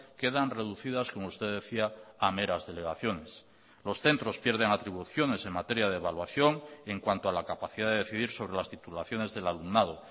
quedan reducidas como usted decía a meras delegaciones los centros pierden atribuciones en materia de evaluación en cuanto a la capacidad de decidir sobre las titulaciones del alumnado